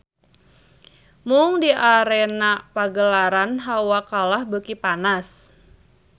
Mung di arena pagelaran hawa kalah beuki panas.